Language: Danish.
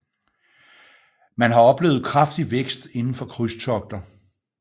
Man har oplevet kraftig vækst inden for krydstogter